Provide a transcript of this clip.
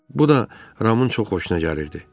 Bu da Ramın çox xoşuna gəlirdi.